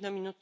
Poštovana